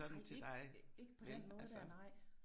Nej ikke ikke på den måde dér nej